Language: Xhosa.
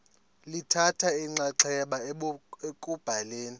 lithatha inxaxheba ekubhaleni